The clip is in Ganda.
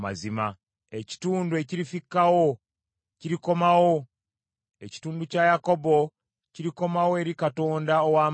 Ekitundu ekirifikkawo kirikomawo, ekitundu kya Yakobo kirikomawo eri Katonda ow’amaanyi.